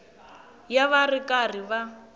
ya va ri karhi va